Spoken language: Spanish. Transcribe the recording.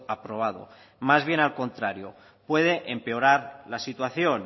aprobado más bien al contrario puede empeorar la situación